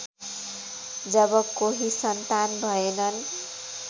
जब कोही सन्तान भएनन्